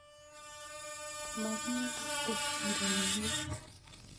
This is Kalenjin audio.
Ma kipe ureryet.